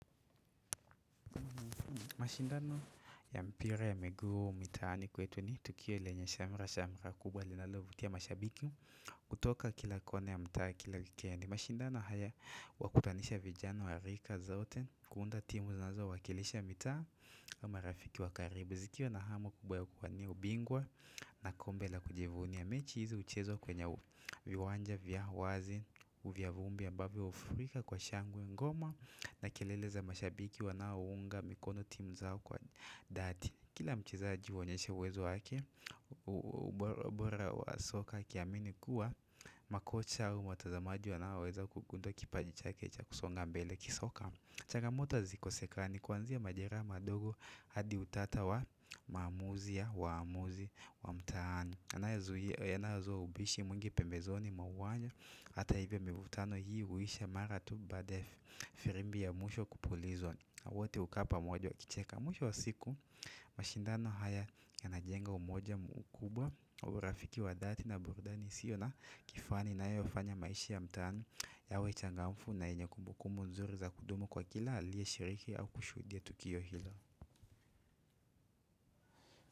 Mashindano ya mpira ya miguu mitaani kwetu ni tukio lenye shamra, shamra kubwa linalovutia mashabiki kutoka kilakona ya mtaa ki la wikendi. Mashindano haya huwakutanisha vijana wa rika zote kuunda timu zinazo wakilisha mitaa marafiki wakaribu. Zikiwa na hamu kubwa ya kuwania ubingwa na kombe la kujivunia mechi hizi uchezwa kwenye viwanja, vya wazi, vya vumbi ambavyo ufurika kwa shangwe ngoma na kelele za mashabiki wanaounga mikono timu zao kwa dhati Kila mcheza jiuonyeshea uwezo wake Uborabora wa soka kiamini kuwa Makocha au watazamaji wanaoweza kukuza kipaji cha ke cha kusonga mbele kisoka Chagamoto hazikoseka ni kuanzia majeraha madogo hadi utata wa maamuzi ya waamuzi wa mtaani yanayozua ubishi mwingi pembezoni mwa uwanja Hata hivyo mivutano hii uisha mara tu baada ya Firimbi ya mwisho kupulizwa na wote ukaa pa moja wa kicheka Mwisho wa siku mashindano haya ya najenga umoja mkubwa urafiki wa dhati na burudani iSiyo la kifani ina yofanya maisha ya mtaani yawe changamfu na yenye kumbukumbu nzuri za kudumu kwa kila alie shiriki au kushudia tukio hilo.